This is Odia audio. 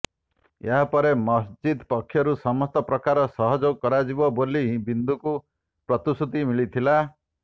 ଏହାପରେ ମସଜିଦ ପକ୍ଷରୁ ସମସ୍ତ ପ୍ରକାର ସହଯୋଗ କରାଯିବ ବୋଲି ବିନ୍ଦୁଙ୍କୁ ପ୍ରତିଶ୍ରୁତି ମିଳିଥିଲା